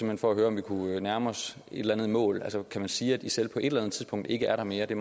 hen for at høre om vi kunne nærme os et eller andet mål kan man sige at isil på et eller andet tidspunkt ikke er der mere det